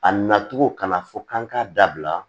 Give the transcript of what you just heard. A nacogo kana fɔ k'an k'a dabila